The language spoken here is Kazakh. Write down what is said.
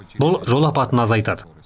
бұл жол апатын азайтады